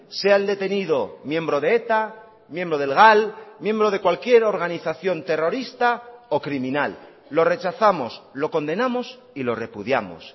sea el detenido miembro de eta miembro del gal miembro de cualquier organización terrorista o criminal lo rechazamos lo condenamos y lo repudiamos